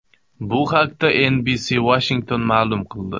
Bu haqda NBC Washington ma’lum qildi .